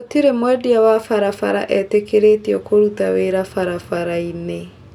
Gũtirĩ mwendia wa barabara etĩkĩrĩtio kũrũta wĩra barabara-inĩ